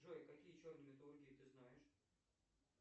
джой какие черные металлургии ты знаешь